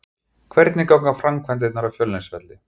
Hvernig ganga framkvæmdirnar á Fjölnisvelli?